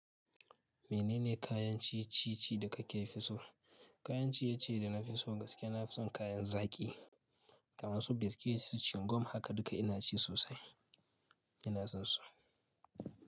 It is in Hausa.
Menene kayan ci-ci da kake fi so? Kayan ciye ciye da na fi so gaskiya na fi son kayan zaƙi kamar su biscuits, su chingum haka duka ina ci sosai, ina son su.